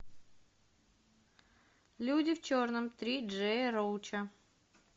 люди в черном три джея роуча